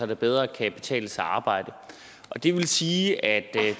det bedre kan betale sig at arbejde det vil sige at